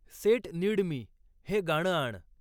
set नीड मी हे गाणं आण